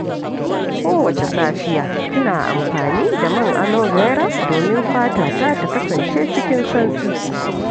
Kowace safiya, ina amfani da man Alobera domin fatata ta kasance cikin santsi.